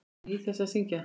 Ég nýt þess að syngja.